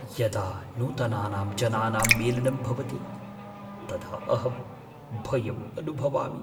यदा नूतनानां जनानां मेलनं भवति तदा अहं भयम् अनुभवामि।